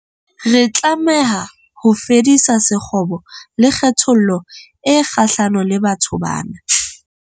Re tlameha ho fedisa sekgobo le kgethollo e kgahlano le batho bana.